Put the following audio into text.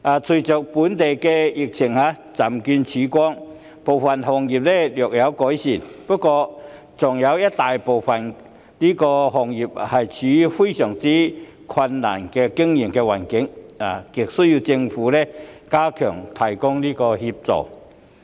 隨着本地疫情漸見曙光，部分行業的情況略有改善，但大部分行業的經營環境依然相當困難，亟需政府加強提供協助。